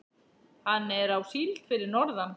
Hann er á síld fyrir norðan.